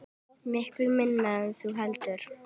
Miklu minna en þú heldur.